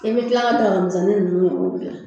I bɛ kila ka daga minsɛnnin ninnu ɲɔgɔn dilan